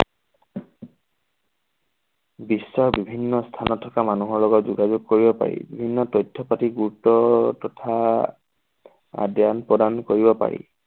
বিশ্বৰ বিভিন্ন স্থাপনত থকা মানুহৰ লগত যোগাযোগ কৰিব পাৰি। বিভিন্ন তথ্য পাতি গুৰুত্ব তথা আদান প্ৰদান কৰিব পাৰি।